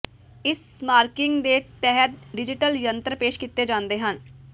ਇਸ ਮਾਰਕਿੰਗ ਦੇ ਤਹਿਤ ਡਿਜੀਟਲ ਯੰਤਰ ਪੇਸ਼ ਕੀਤੇ ਜਾਂਦੇ ਹਨ